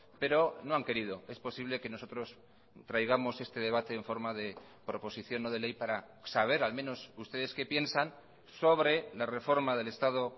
pero no han querido es posible que nosotros traigamos este debate en forma de proposición no de ley para saber al menos ustedes qué piensan sobre la reforma del estado